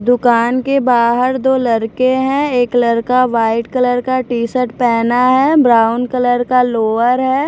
दुकान के बाहर दो लड़के हैं एक लड़का वाइट कलर का टी-शर्ट पहना है ब्राउन कलर का लोअर है।